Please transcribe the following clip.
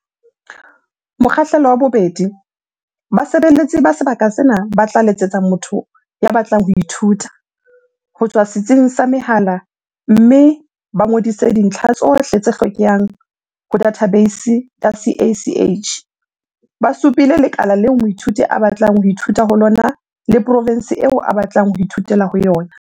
Mokgahlelo wa 2. Basebeletsi ba sebaka sena ba tla letsetsa motho ya batlang ho ithuta, ho tswa setsing sa mehala mme ba ngodise dintlha tsohle tse hlokehang ho dathabeisi ya CACH, ba supile lekala leo moithuti a batlang ho ithuta ho lona le profense eo a batlang ho ithutela ho yona.